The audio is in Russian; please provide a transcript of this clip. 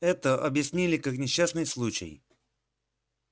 это объяснили как несчастный случай